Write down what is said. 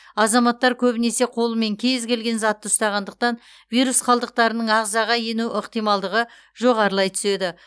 азаматтар көбінесе қолымен кез келген затты ұстағандықтан вирус қалдықтарының ағзаға ену ықтималдығы жоғарылай түседі